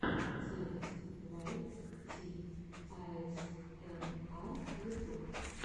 запись вайт ти аэсэмар ютуб